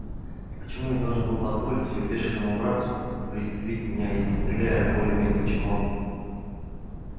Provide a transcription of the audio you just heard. и почему я должен был позволить её бешеному братцу пристрелить меня если стреляю более метко чем он